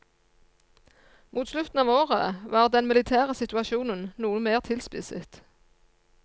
Mot slutten av året var den militære situasjonen noe mer tilspisset.